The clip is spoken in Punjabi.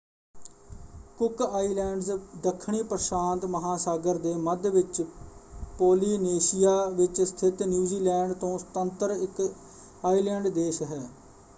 ਕੁੱਕ ਆਈਲੈਂਡਜ਼ ਦੱਖਣੀ ਪ੍ਰਸ਼ਾਂਤ ਮਹਾਂਸਾਗਰ ਦੇ ਮੱਧ ਵਿੱਚ ਪੋਲੀਨੇਸ਼ੀਆ ਵਿੱਚ ਸਥਿਤ ਨਿਊਜ਼ੀਲੈਂਡ ਤੋਂ ਸੁਤੰਤਰ ਇੱਕ ਆਈਲੈਂਡ ਦੇਸ਼ ਹੈ।